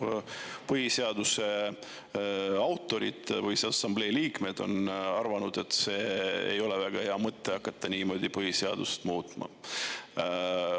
Põhiseaduse autorid, Põhiseaduse Assamblee liikmed on arvanud, et ei ole väga hea mõte hakata niimoodi põhiseadust muutma.